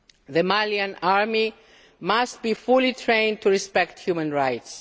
The Malian army must be fully trained to respect human rights.